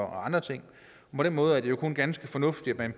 andre ting på den måde er det jo kun ganske fornuftigt at